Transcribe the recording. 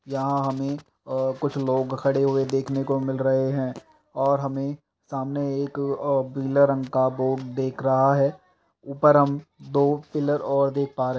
यहाॅं में अ कुछ लोग खड़े हुए देखने को मिल रहे हैं और हमें सामने एक अ पीले रंग का बो दिख रहा है ऊपर हम दो पिलर और देख पा रहे --